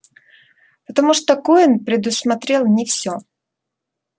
потому что куинн предусмотрел не всё